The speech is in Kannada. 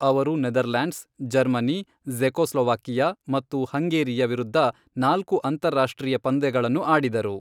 ಅವರು ನೆದರ್ಲ್ಯಾಂಡ್ಸ್, ಜರ್ಮನಿ, ಜೆ಼ಕೊಸ್ಲೊವಾಕಿಯಾ ಮತ್ತು ಹಂಗೇರಿಯ ವಿರುದ್ಧ ನಾಲ್ಕು ಅಂತಾರಾಷ್ಟ್ರೀಯ ಪಂದ್ಯಗಳನ್ನು ಆಡಿದರು.